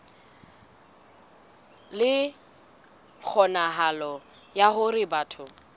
le kgonahalo ya hore batho